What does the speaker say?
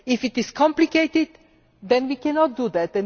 If it is complicated then we cannot do that.